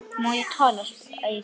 Má ég tala? spyr Eyþór.